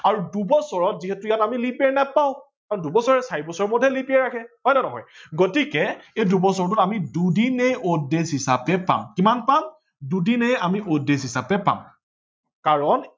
আৰু দুবছৰত যিহেতু আমি ইয়াত leap year নাপাও আৰু দুবছৰ চাৰি বছৰ মুৰত হে leap year আহে হয় নে নহয় গতিকে দুবছৰটোত আমি দুদিনেই odd days হিচাপে পাম কিমান পাম দুদিনেই আমি odd days হিচাপে পাম কাৰন